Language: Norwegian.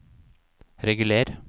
reguler